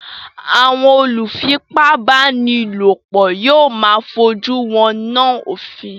Àwọn olùfipábánilòpọ̀ yóò máa fojú winá òfin.